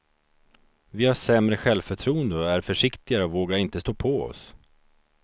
Vi har sämre självförtroende och är försiktigare och vågar inte stå på oss.